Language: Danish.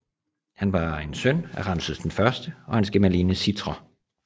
Han var en søn af Ramses I og hans gemalinde Sitre